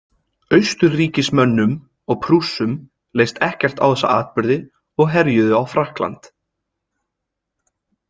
Austurríkismönnum og Prússum leist ekkert á þessa atburði og herjuðu á Frakkland.